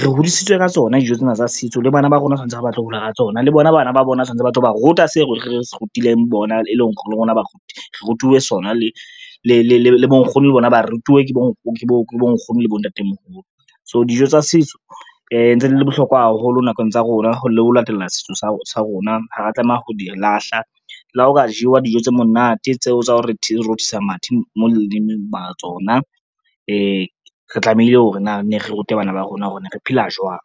re hodisitswe ka tsona dijo tsena tsa setso le bana ba rona tshwantse hore ba tlo hola ka tsona le bona bana ba bona tshwantse ba tlo ba ruta se re rutileng bona, e leng hore le rona ba rona re rutuwe sona le bonkgono le bona ba rutuwe ke bo ke bonkgono le bontatemoholo. So dijo tsa setso ntse di le bohlokwa haholo nakong tsa rona le ho latela setso sa rona, ha ra tlameha ho di lahla le ha ho ka jewa dijo tse monate tseo tsa ho re di rothisa mathe mo lelemeng mara tsona re tlamehile hore na ne re rute bana ba rona hore re ne re phela jwang.